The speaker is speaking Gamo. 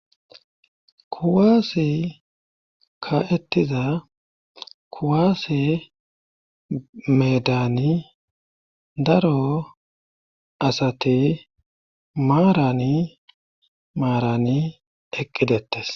kuwaase ka7ettiza kuwaase medani daro asate maarani maarani eqqidettes